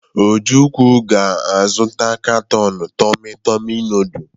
Ojukwu ga-azụta katọn tomị-tomị nọọdụ.